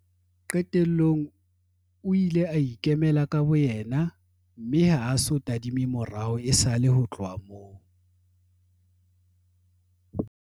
Qetellong o ile a ikemela ka boyena mme ha a so tadime morao esale ho tloha moo.